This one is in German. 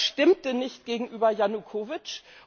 Das stimmte nicht gegenüber Janukowytsch.